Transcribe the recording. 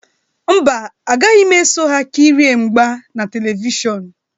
Mba, agaghị m eso ha kirie mgba na Televishọnụ.